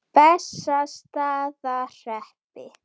Bessastaðahreppi